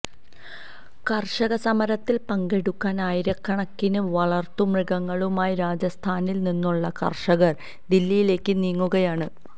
കര്ഷക സമരത്തില് പങ്കെടുക്കാന് ആയിരക്കണക്കിന് വളര്ത്തു മൃഗങ്ങളുമായി രാജസ്ഥാനില് നിന്നുള്ള കര്ഷകര് ദില്ലിയിലേക്ക് നീങ്ങുകയാണ്